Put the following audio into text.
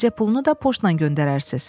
Müalicə pulunu da poçtla göndərərsiz.